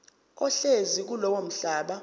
ohlezi kulowo mhlaba